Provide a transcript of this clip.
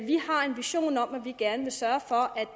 vi har en vision om at vi gerne vil sørge for at